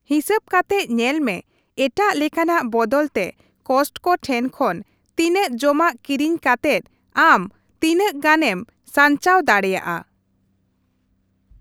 ᱦᱤᱥᱟᱹᱵ ᱠᱟᱛᱮᱜ ᱧᱮᱞᱢᱮ ᱮᱴᱟᱜ ᱞᱮᱠᱟᱱᱟᱜ ᱵᱚᱫᱚᱞ ᱛᱮ ᱠᱚᱥᱴᱠᱳ ᱴᱷᱮᱱ ᱠᱷᱚᱱ ᱛᱤᱱᱟᱹᱜ ᱡᱚᱢᱟᱜ ᱠᱤᱨᱤᱧ ᱠᱟᱛᱮᱜ ᱟᱢ ᱛᱤᱱᱟᱹᱜ ᱜᱟᱱ ᱮᱢ ᱥᱟᱧᱪᱟᱣ ᱫᱟᱲᱮᱭᱟᱜᱼᱟ ᱾